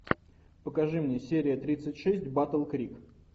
покажи мне серия тридцать шесть батл крик